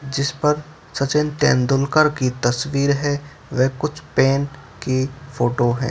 जिस पर सचिन तेंदुलकर की तस्वीर है वे कुछ पैन की फोटो हैं।